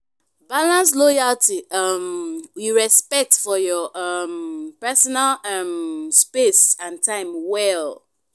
balance loyalty um with respect for your um personal um space and time well.